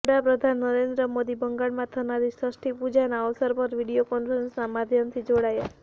વડાપ્રધાન નરેન્દ્ર મોદી બંગાળમાં થનારી ષષ્ઠી પૂજા ના અવરસ પર વિડીયો કોન્ફરંસના માધ્યમથી જોડાયા